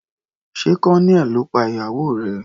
Sé Colonel ló pa ìyàwó rẹ̀.